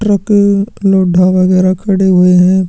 Truck लोढढा वगैरा खड़े हुए है।